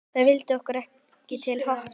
Það vildi okkur til happs.